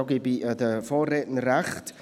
darin gebe ich den Vorrednern recht.